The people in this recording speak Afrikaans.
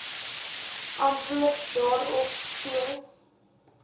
antwoord daarop soos